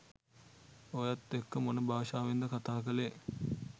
ඔයත් එක්ක මොන භාෂාවෙන්ද කතා කලේ?